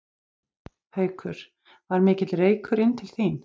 Haukur: Var mikill reykur inn til þín?